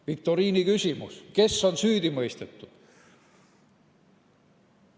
Viktoriiniküsimus: kes on süüdi mõistetud?